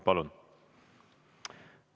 Palun!